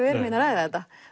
erum hérna að ræða þetta